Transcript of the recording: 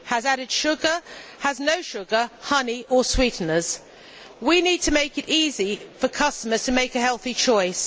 if it contains added sugar, no sugar, honey or sweeteners. We need to make it easy for customers to make a healthy choice.